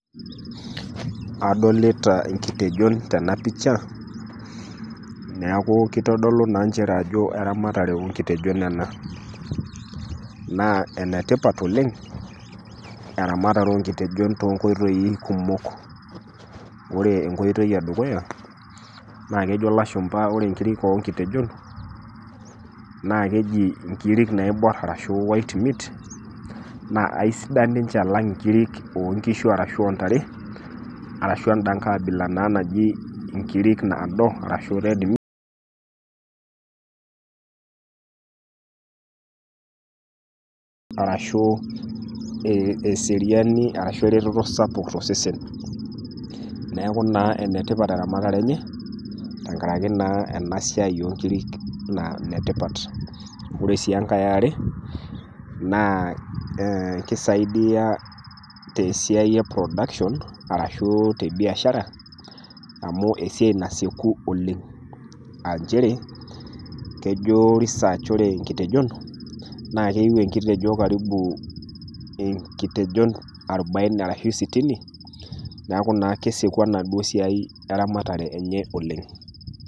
Adolita inkitejon tena pisha, neaku keitodolu naa nchere ajo eramatare oo nkitejon ena. Naa ene tipat oleng' eramatare oo nkitejon too inkoitoi kumok, naa ore ekoitoi dukuya naa ejo ilashumba ore inkirik o nkitejon, naa keji inkiri naobor arashu white meat, naa aisidan ninche alang' inkiri o nkishu ashu inkiri o ntare, ashu enda Kai abila naa naji inkiri naado ashu red meat.. Ashu eretoto sapuk to sesen. Neaku naa enetipat naa eramatare enye tenkaraki naa ena siai o nkirik naa netipat. Ore SI enkai e are, naa keisaidia te Siai e production ashu te siai e biashara, amu esiai nasieku oleng', nchere, kejo research ore inkitejon eyu enkitejo inketejon arubaini arashu sitini, neaku naa kesieku enaduo siai e ramatare enye oleng'.